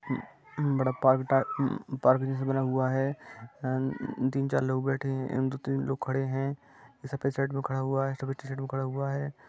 बड़ा बड़ा पा-पार्क जैसा बना हुआ है अ-तीन चार लोग बैठे है दो तीन लोग खड़े है सफेद शर्ट में खड़ा हुआ है सफेद टी-शर्ट खड़ा हुआ है।